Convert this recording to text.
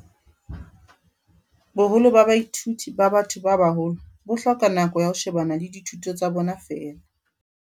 "Boholo ba baithuti ba ba-tho ba baholo bo hloka nako ya ho shebana le dithuto tsa bona feela."